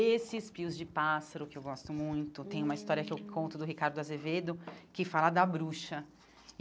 Esses pios de pássaro, que eu gosto muito hum, tem uma história que eu conto do Ricardo Azevedo, que fala da bruxa.